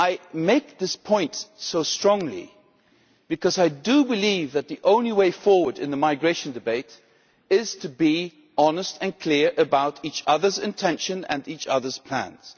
I make this point so strongly because I do believe that the only way forward in the migration debate is to be honest and clear about each other's intention and each other's plans.